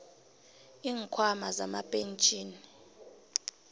iinkhwama zamapentjhini